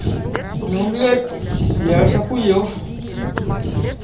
ну блять я аж ахуел